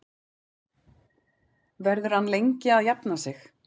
Verður hann lengi að jafna sig?